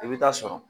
I bɛ taa sɔrɔ